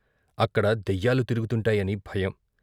అక్కడ దయ్యాలు తిరుగుతుంటాయని భయం.